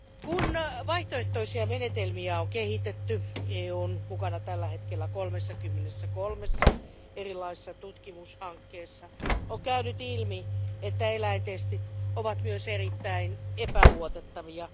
Kun vaihtoehtoisia menetelmiä on kehitetty EU on mukana tällä hetkellä 33 erilaisessa tutkimushankkeessa on käynyt ilmi, että eläintestit ovat myös erittäin epäluotettavia.